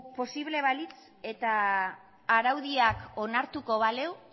posible balitz eta araudiak onartuko balu